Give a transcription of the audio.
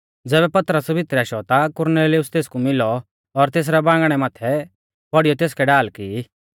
ज़ैबै पतरस भितरै आशौ ता कुरनेलियुस तेसकु मिलौ और तेसरै बांगणै माथै पौड़ीयौ तेसकै ढाल की